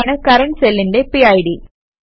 അതാണ് കറന്റ് സെല്ലിന്റെ പിഡ്